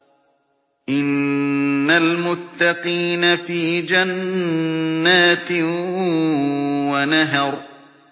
إِنَّ الْمُتَّقِينَ فِي جَنَّاتٍ وَنَهَرٍ